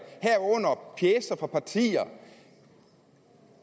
herunder pjecer fra partier